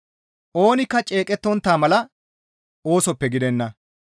Oonikka ceeqettontta mala oosoppe gidenna.